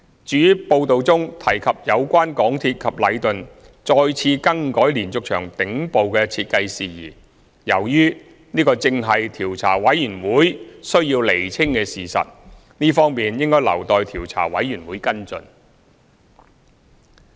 至於報道中提及有關港鐵公司及禮頓再次更改連續牆頂部的設計事宜，由於這正是調查委員會須釐清的事實，這方面應留待調查委員會跟進。